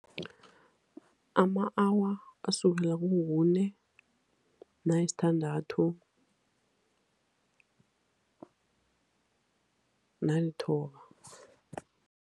Ama-awa asukela kukune, nayisithandathu, nalithoba.